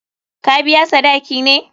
Ka biya sadaki ne?